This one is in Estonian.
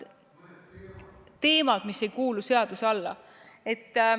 Teemad, mis ei kuulu seaduse alla.